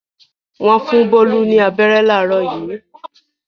Wọ́n fún Bólú ní abẹ́rẹ́ láàárọ̀ yìí.